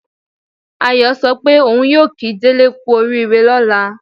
Ayọ̀ sọ pé òun yóò kí Délé kú oríire lọ́la